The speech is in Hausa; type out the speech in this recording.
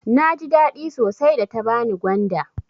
Naji daɗi sosai da ta bani gwanda.